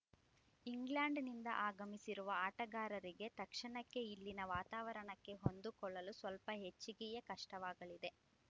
ಇಂಗ್ಲೆಂಡ್‌ನಿಂದ ಆಗಮಿಸಿರುವ ಆಟಗಾರರಿಗೆ ತಕ್ಷಣಕ್ಕೆ ಇಲ್ಲಿನ ವಾತಾವರಣಕ್ಕೆ ಹೊಂದಿಕೊಳ್ಳಲು ಸ್ವಲ್ಪ ಹೆಚ್ಚಿಗೆಯೇ ಕಷ್ಟವಾಗಲಿದೆ